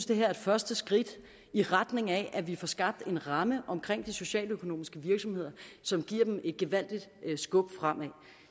det her er et første skridt i retning af at vi får skabt en ramme om de socialøkonomiske virksomheder som giver dem et gevaldigt skub fremad